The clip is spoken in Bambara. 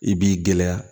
I b'i gɛlɛya